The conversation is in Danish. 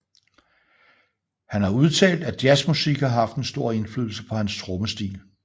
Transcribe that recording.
Han har udtalt at jazzmusik har haft en stor indflydelse på hans trommestil